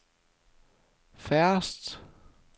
færreste